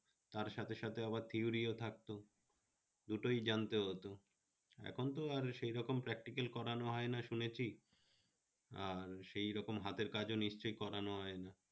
তার সাথে সাথে আবার theory ও থাকতো দুটোই জানতে হত, এখন তো আর সেই রকম particle করানো হয় না শুনেছি আর সেই রকম হাতের কাজ নিশ্চয়ই করানো হয় না